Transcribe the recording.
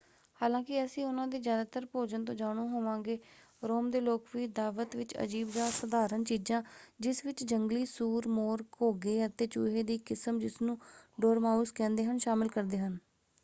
ਹਾਲਾਂਕਿ ਅਸੀਂ ਉਨ੍ਹਾਂ ਦੇ ਜ਼ਿਆਦਾਤਰ ਭੋਜਨ ਤੋਂ ਜਾਣੂ ਹੋਵਾਂਗੇ ਰੋਮ ਦੇ ਲੋਕ ਵੀ ਦਾਅਵਤ ਵਿੱਚ ਅਜੀਬ ਜਾਂ ਅਸਾਧਾਰਨ ਚੀਜ਼ਾਂ ਜਿਸ ਵਿੱਚ ਜੰਗਲੀ ਸੂਰ ਮੋਰ ਘੋਗੇ ਅਤੇ ਚੂਹੇ ਦੀ ਇੱਕ ਕਿਸਮ ਜਿਸਨੂੰ ਡੋਰਮਾਊਸ ਕਹਿੰਦੇ ਹਨ ਸ਼ਾਮਲ ਕਰਦੇ ਹਨ।